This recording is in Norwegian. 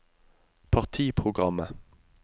partiprogrammet